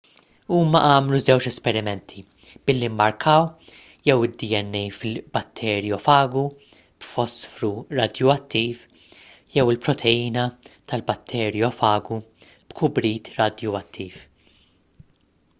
huma għamlu żewġ esperimenti billi mmarkaw jew id-dna fil-batterjofagu b'fosfru radjuattiv jew il-proteina tal-batterjofagu b'kubrit radjuattiv